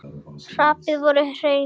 Þrepin voru hrein.